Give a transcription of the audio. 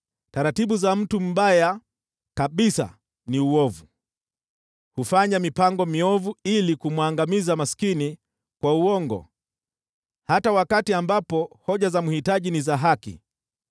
Taratibu za mtu mbaya kabisa ni ovu, hufanya mipango miovu ili kumwangamiza maskini kwa uongo, hata wakati ambapo hoja za mhitaji ni za haki.